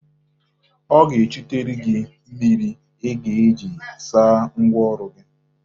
Ọ ga-echutere gị mmiri ị ga-eji saa ngwa ọrụ gị.